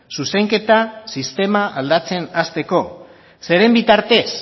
zuzenketa sistema aldatzen hasteko zeren bitartez